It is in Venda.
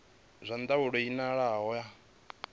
zwa ndaulo i elanaho na